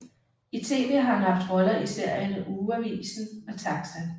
I tv har han haft roller i serierne Ugeavisen og TAXA